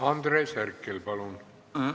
Andres Herkel, palun!